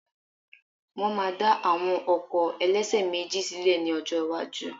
Wọ́n máa dá àwọn ọkọ̀ ẹlẹ́ṣẹ̀méjì sílè ní ọjọ́ iwájú